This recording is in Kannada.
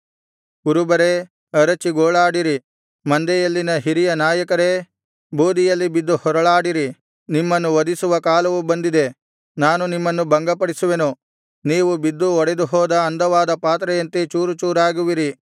ಕುರುಬರೇ ಅರಚಿ ಗೋಳಾಡಿರಿ ಮಂದೆಯಲ್ಲಿನ ಹಿರಿಯ ನಾಯಕರೇ ಬೂದಿಯಲ್ಲಿ ಬಿದ್ದು ಹೊರಳಾಡಿರಿ ನಿಮ್ಮನ್ನು ವಧಿಸುವ ಕಾಲವು ಬಂದಿದೆ ನಾನು ನಿಮ್ಮನ್ನು ಭಂಗಪಡಿಸುವೆನು ನೀವು ಬಿದ್ದು ಒಡೆದುಹೋದ ಅಂದವಾದ ಪಾತ್ರೆಯಂತೆ ಚೂರುಚೂರಾಗುವಿರಿ